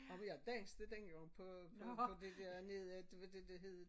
Og vi har danset dengang på på det dernede det var det der hed